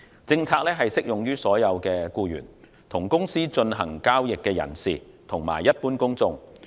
政策適用於所有的僱員、與公司進行交易的人士及一般公眾。